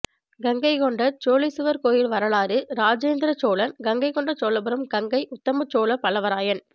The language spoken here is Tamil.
கங்கை கொண்ட சோழீச்சுவர் கோயில் வரலாறு ராஜேந்திரன் சோழன் கங்கை கொண்ட சோழபுரம் கங்கை உத்தமச்சோழ பல்லவராயன்